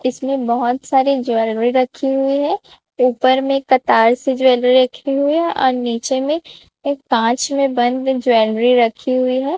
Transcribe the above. इसमें बहोत सारी ज्वेलरी रखी हुई है ऊपर में कतार से ज्वेलरी रखी हुई है और नीचे में एक कांच में बंद ज्वेलरी रखी हुई है।